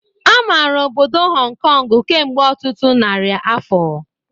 Amarala obodo Họn Kọngụ kemgbe ọtụtụ narị afọ.